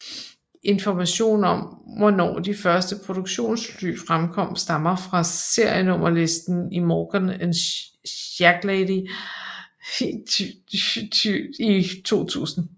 Information om hvornår de første produktionsfly fremkom stammer fra serienummer listen i Morgan and Shacklady 2000